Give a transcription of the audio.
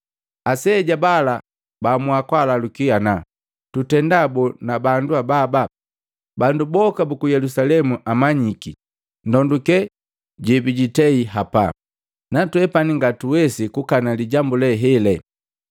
Aseja bala baamua kulalukani ana, “Tutenda boo, na bandu ababa? Bandu boka buku Yelusalemu amanyiki ndonduke jebijitei hapa, natwepani ngatuwesi kukana lijambu lee hele.